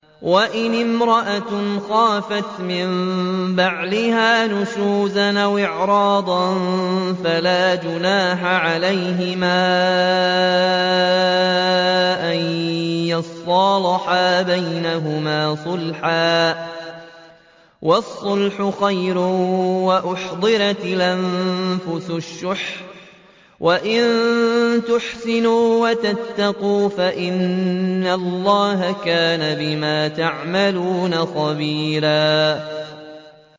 وَإِنِ امْرَأَةٌ خَافَتْ مِن بَعْلِهَا نُشُوزًا أَوْ إِعْرَاضًا فَلَا جُنَاحَ عَلَيْهِمَا أَن يُصْلِحَا بَيْنَهُمَا صُلْحًا ۚ وَالصُّلْحُ خَيْرٌ ۗ وَأُحْضِرَتِ الْأَنفُسُ الشُّحَّ ۚ وَإِن تُحْسِنُوا وَتَتَّقُوا فَإِنَّ اللَّهَ كَانَ بِمَا تَعْمَلُونَ خَبِيرًا